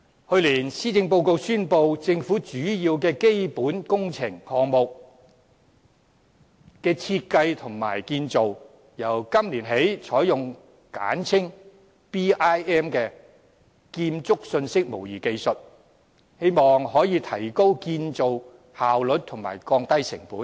去年施政報告宣布，政府的主要基本工程項目的設計和建造，由今年起採用簡稱 BIM 的建築信息模擬技術，希望可以提高建造效率和降低成本。